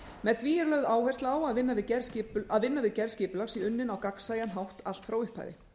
með því er lögð áhersla á að vinna við gerð skipulags sé unnin á gagnsæjan hátt allt frá upphafi